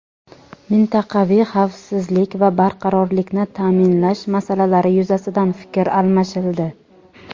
mintaqaviy xavfsizlik va barqarorlikni ta’minlash masalalari yuzasidan fikr almashildi.